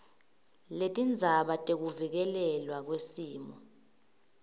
letindzaba tekuvikelelwa kwesimo